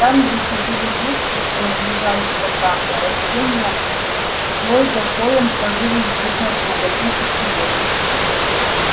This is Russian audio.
там где сидели дети у лежачего камня растения слой за слоем ложились друг на друга тысячи лет